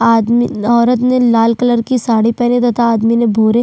आदमी औरत ने लाल कलर की साड़ी पहन रखे है तथा आदमी ने भूरे--